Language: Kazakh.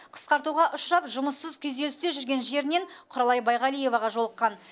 қысқартуға ұшырап жұмыссыз күйзелісте жүрген жерінен құралай байғалиеваға жолыққан